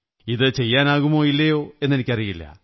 ഇത് ചെയ്യാനാകുമോ ഇല്ലയോ എന്നെനിക്കറിയില്ല